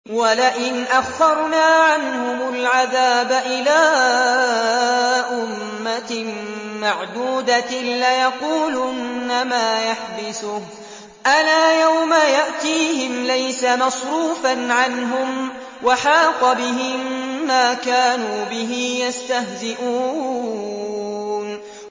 وَلَئِنْ أَخَّرْنَا عَنْهُمُ الْعَذَابَ إِلَىٰ أُمَّةٍ مَّعْدُودَةٍ لَّيَقُولُنَّ مَا يَحْبِسُهُ ۗ أَلَا يَوْمَ يَأْتِيهِمْ لَيْسَ مَصْرُوفًا عَنْهُمْ وَحَاقَ بِهِم مَّا كَانُوا بِهِ يَسْتَهْزِئُونَ